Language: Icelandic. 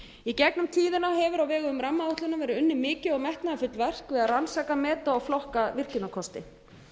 í gegnum tíðina hefur á vegum rammaáætlunar verið unnið mikið og metnaðarfullt verk við að rannsaka meta og flokka virkjunarkosti